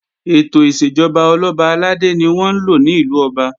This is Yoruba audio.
Ètò ìṣèjọba Ọlọ́ba àlàdé ni wọ́n ńlò ní ìlú Ọba